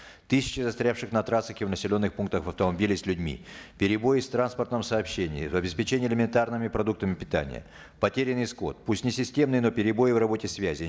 тысячи застрявших на трассах и в населенных пунктах автомобилей с людьми перебои с транспортным сообщением обеспечение элементарными продуктами питания потерянный скот пусть не системные но перебои в работе связи